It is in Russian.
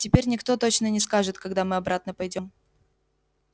теперь никто точно не скажет когда мы обратно пойдём